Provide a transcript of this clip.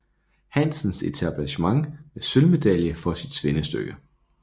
Hansens Etablissement med sølvmedalje for sit svendestykke